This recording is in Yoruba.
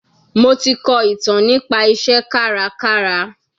Mo ti kọ ìtàn nípa iṣẹ́ kárakára.